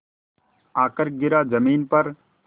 आकर गिरा ज़मीन पर